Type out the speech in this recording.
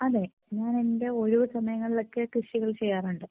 അതെ ഞാൻ എന്റെ ഒഴിവു സമയങ്ങളിൽ ഒക്കെ കൃഷികൾ ചെയ്യാറുണ്ട്.